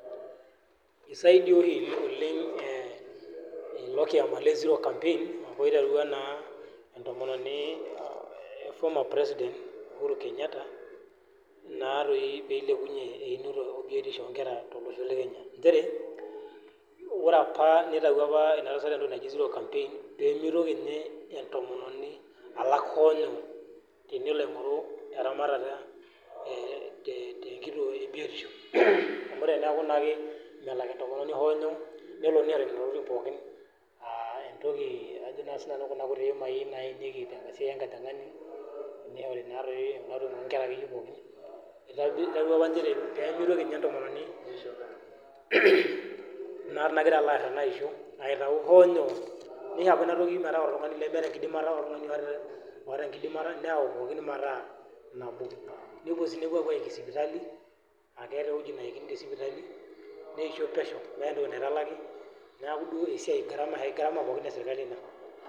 isaidia oleng ilo le zero campaign loiterua first Lady isaidia inkera , ore apa nitayio ina tasat entoki naji zero campaign pee mitoki entomononi alak hoo inyoo, tenelo aigoru eramata tenkituo ebiotisho, tenelo etaa nenatokitin pooki nishori enatoki enkojingani, kunatokitin akeyie oo iknera pooki neret kulo tunganak lemeeta enkidimata.